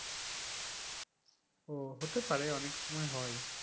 ও হতে পারে অনেক সময় হয়।